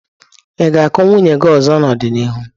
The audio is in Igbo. Ị ga-akụ nwunye gị ọzọ n'ọdịnihu?